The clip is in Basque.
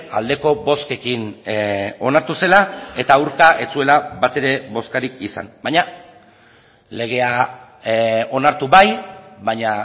aldeko bozkekin onartu zela eta aurka ez zuela batere bozkarik izan baina legea onartu bai baina